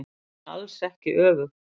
En alls ekki öfugt.